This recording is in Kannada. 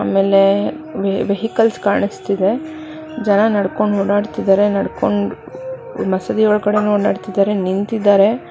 ಆಮೇಲೆ ವೆಹಿಕಲ್ಸ್ ಕಾಣಿಸ್ತಿದೆ ಜನ ನಡ್ಕೊಂಡ್ ಓಡಾಡುತ್ತಿದ್ದಾರೆ ನಡ್ಕೊಂಡ್ ಮಸೀದಿ ಒಳಗಡೆನು ನಿಂತಿದ್ದರೆ.